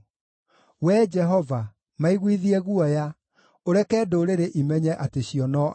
Wee Jehova, maiguithie guoya, ũreke ndũrĩrĩ imenye atĩ cio no andũ.